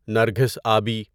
نرگھس آبی